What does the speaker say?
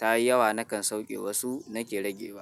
ta yi yawa nakan sauke wasu nake rage wa.